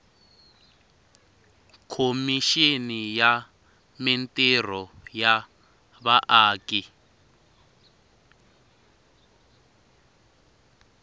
khomixini ya mintirho ya vaaki